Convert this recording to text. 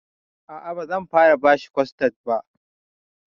A'a, bazan fara bashi kostad ba.